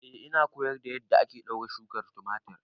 Eh ina koyar da yadda ake ɗaure shukar tumatir